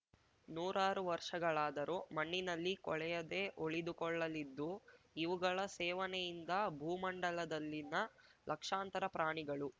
ನೂರಾರು ವರ್ಷಗಳಾದರೂ ಮಣ್ಣಿನಲ್ಲಿ ಕೊಳೆಯದೆ ಉಳಿದುಕೊಳ್ಳಲಿದ್ದು ಇವುಗಳ ಸೇವನೆಯಿಂದ ಭೂ ಮಂಡಲದಲ್ಲಿನ ಲಕ್ಷಾಂತರ ಪ್ರಾಣಿಗಳು